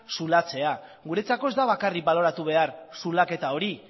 zulatzea guretzako ez da bakarrik baloratu behar zulaketa hori